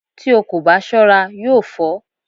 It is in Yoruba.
Tí o kò bá ṣọ́ra yóò fọ́